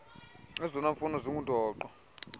ezona mfuno zingundoqo